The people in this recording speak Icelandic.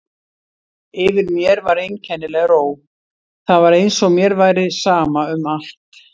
Yfir mér var einkennileg ró, það var eins og mér væri sama um allt.